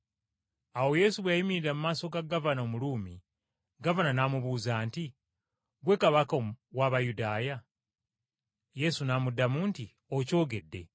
Awo Yesu bwe yayimirira mu maaso ga gavana, Omuruumi, gavana n’amubuuza nti, “Ggwe Kabaka w’Abayudaaya?” Yesu n’amuddamu nti, “Okyogedde.”